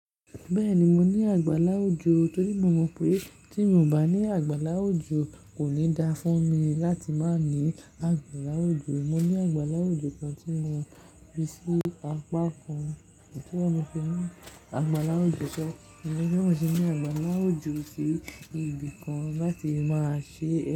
Bẹ́ẹ̀ni, mo ní àgbàla ojó torí mo mọ̀ pé tí mò bá ní àgbàla ò ljó kò ní da fún mi láti má ní àgbàláwò jó. Mo ní àgbàlá ojó kan tí mo fi sí apákan tí wọ́n fi sí inú àgbàlá ojó ṣọ́, èèyàn sì ní àgbàlá ojó sí ibì kan láti máa ṣe.